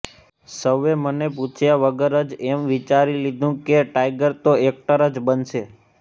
સૌએ મને પૂછ્યા વગર જ એમ વિચારી લીધુ હતું કે ટાઇગર તો એક્ટર જ બનશે